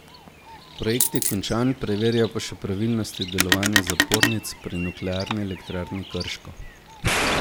Projekt je končan, preverjajo pa še pravilnosti delovanja zapornic pri Nuklearni elektrarni Krško.